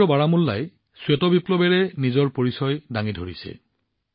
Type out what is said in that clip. সমগ্ৰ বাৰামুল্লাই নতুন শ্বেত বিপ্লৱৰ পৰিচয় হৈ পৰিছে